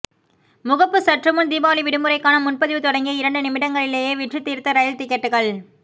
முகப்பு சற்றுமுன் தீபாவளி விடுமுறைக்கான முன்பதிவு தொடங்கிய இரண்டு நிமிடங்களிலேயே விற்றுத்தீர்த்த ரயில் டிக்கெட்டுகள்